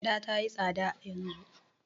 Gyaɗa ta yi tsada yanzu.